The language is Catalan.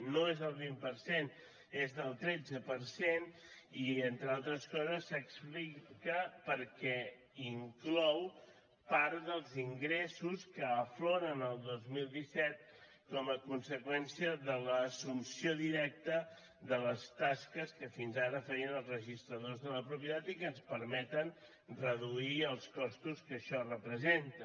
no és del vint cent és del tretze per cent i entre altres coses s’explica perquè inclou part dels ingressos que afloren el dos mil disset com a conseqüència de l’assumpció directa de les tasques que fins ara feien els registradors de la propietat i que ens permeten reduir els costos que això representa